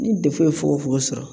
Ni fogofogo sɔrɔ